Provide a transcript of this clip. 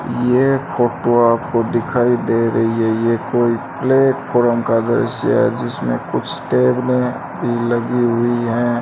ये फोटो आपको दिखाई दे रही है ये कोई प्ले फॉर्म का दृश्य है जिसमें कुछ टेबलें भी लगी हुई हैं।